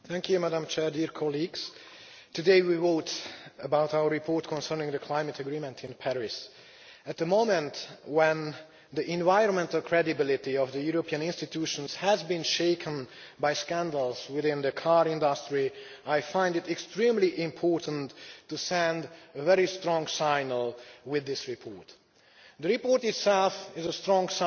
Madam President, today we vote on our report concerning the climate agreement in Paris. At the moment, when the environmental credibility of the European institutions has been shaken by scandals within the car industry, I find it extremely important to send a very strong signal with this report. The report itself is a strong